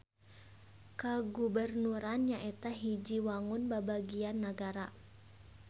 Kagubernuran nyaeta hiji wangun babagian nagara.